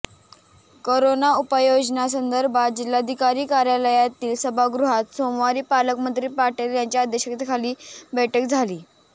corona उपाययोजनांसंदर्भात जिल्हाधिकारी कार्यालयातील सभागृहात सोमवारी पालकमंत्री पाटील यांच्या अध्यक्षतेखाली बैठक झाली